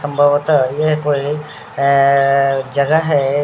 संभवतः यह कोई अअअअ जगह हैं।